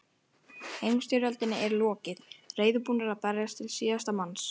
Heimsstyrjöldinni er lokið, reiðubúnir að berjast til síðasta manns.